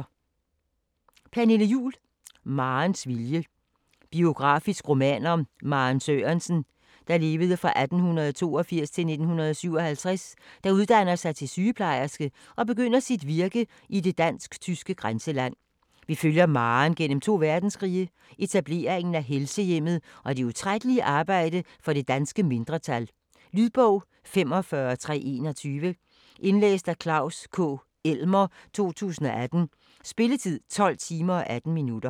Juhl, Pernille: Marens vilje Biografisk roman om Maren Sørensen (1882-1957), der uddanner sig til sygeplejerske og begynder sit virke i det dansk/tyske grænseland. Vi følger Maren gennem to verdenskrige, etableringen af Helsehjemmet og det utrættelige arbejde for det danske mindretal. Lydbog 45321 Indlæst af Klaus K. Elmer, 2018. Spilletid: 12 timer, 18 minutter.